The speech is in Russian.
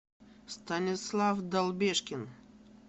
станислав долбешкин